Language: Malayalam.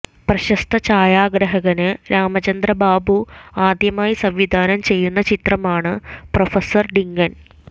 പ്രശസ്ത ചായാഗ്രാഹകന് രാമചന്ദ്ര ബാബു ആദ്യമായി സംവിധാനം ചെയ്യുന്ന ചിത്രമാണ് പ്രൊഫസര് ഡിങ്കന്